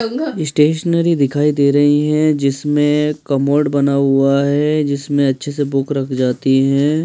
Stationery दिखाई दे रही हैं जिसमें कमोड बना हुआ है जिसमें अच्छे से बुक रख जाती हैं।